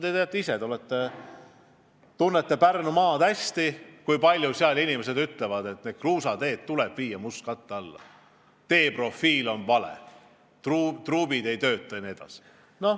Te ju tunnete Pärnumaad hästi ja teate, kui palju seal inimesed ütlevad, et need ja teised kruusateed tuleb viia mustkatte alla – teeprofiil on vale, truubid ei tööta jne.